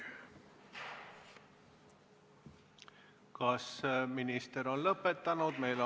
Kas minister on lõpetanud?